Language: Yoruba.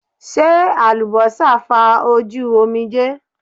Ṣe alubosa fa oju omije